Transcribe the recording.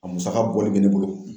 A musaka bɔli bɛ ne bolo.